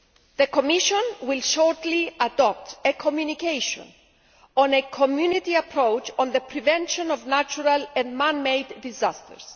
The Commission will shortly adopt a Communication on a Community approach on the prevention of natural and man made disasters'.